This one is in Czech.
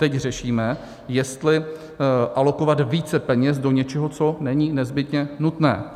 Teď řešíme, jestli alokovat více peněz do něčeho, co není nezbytně nutné.